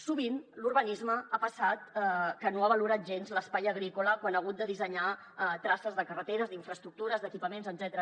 sovint l’urbanisme ha passat que no ha valorat gens l’espai agrícola quan ha hagut de dissenyar traces de carreteres d’infraestructures d’equipaments etcètera